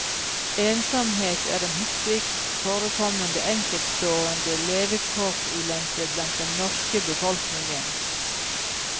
Ensomhet er den hyppigst forekommende enkeltstående levekårsulempe blant den norske befolkningen.